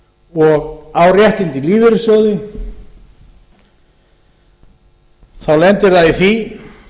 og á réttindi í lífeyrissjóði þá lendir það í því